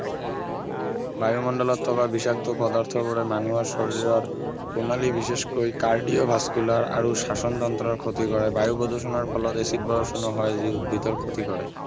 বায়ুমণ্ডলত থকা বিষাক্ত পদাৰ্থবোৰে মানুহৰ শৰীৰৰ প্ৰণালী বিশেষকৈ cardio vascular আৰু শ্বাসণ তন্ত্ৰৰ ক্ষতি কৰে বায়ু প্ৰদূষণৰ ফলত এচিড বৰষুণো হয় যি উদ্ভিদৰ ক্ষতি কৰে